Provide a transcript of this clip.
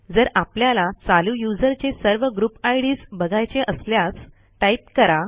जर आपल्याला चालू यूझर चे सर्व ग्रुपIDs बघायचे असल्यास टाईप करा